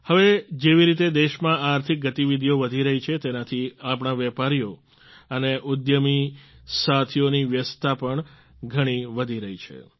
હવે જેવી રીતે દેશમાં આર્થિક ગતિવિધીઓ વધી રહી છે તેનાથી આપણા વેપારીઓ અને ઉદ્યમી સાથીઓની વ્યસ્તતા પણ ઘણી વધી રહી છે